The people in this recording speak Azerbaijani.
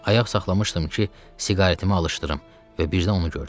Ayaq saxlamışdım ki, siqaretimi alışdırım və birdən onu gördüm.